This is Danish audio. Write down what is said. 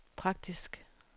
praktisk